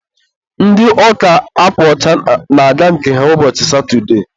ndị ụka akwa ọcha na-aga nke ha ụbọchị satụde